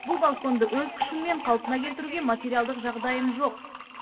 бұл балконды өз күшіммен қалпына келтіруге материалдық жағдайым жоқ